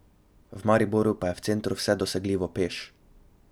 V Mariboru pa je v centru vse dosegljivo peš.